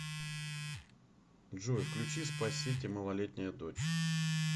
джой включи спа сити малолетняя дочь